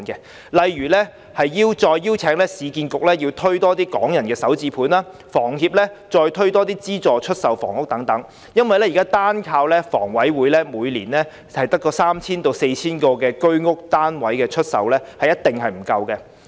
舉例而言，政府應再邀請市建局推出更多"港人首置上車盤"，以及請房協再推出資助出售房屋項目，原因是現時單靠香港房屋委員會每年出售約三四千個居者有其屋單位，是一定不足夠的。